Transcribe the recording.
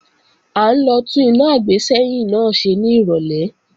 À ń lọ tún iná àgbésẹ́yìn náà ṣe ní ìrọ̀lẹ́